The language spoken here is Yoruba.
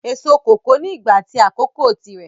Èso kòkó ni ìgbà at àsìkò tí rẹ